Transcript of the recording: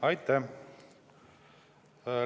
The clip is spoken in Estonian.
Aitäh!